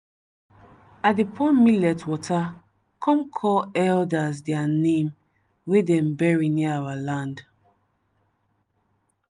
i dey pour millet water come call elders dia name wey dem bury near our land.